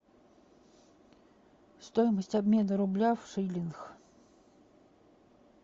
стоимость обмена рубля в шиллингах